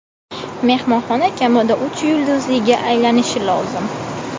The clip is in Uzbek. Mehmonxona kamida uch yulduzliga aylanishi lozim.